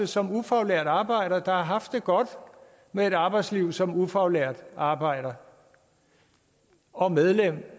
som ufaglært arbejder der har haft det godt med et arbejdsliv som ufaglært arbejder og medlem